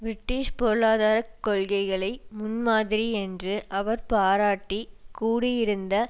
British பொருளாதார கொள்கைகளை முன்மாதிரி என்று அவர் பாராட்டி கூடியிருந்த